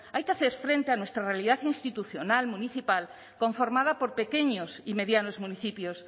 hay que hacer frente a nuestra realidad institucional municipal conformada por pequeños y medianos municipios